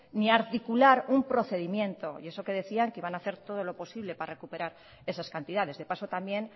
ni articular un procedimiento y eso que decían que iban a hacer todo lo posible para recuperar esas cantidades de paso también